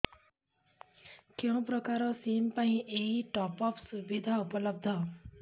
କେଉଁ ପ୍ରକାର ସିମ୍ ପାଇଁ ଏଇ ଟପ୍ଅପ୍ ସୁବିଧା ଉପଲବ୍ଧ